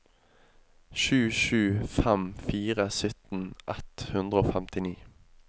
sju sju fem fire sytten ett hundre og femtini